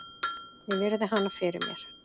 Ég virði hana fyrir mér.